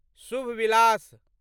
शुभ विलास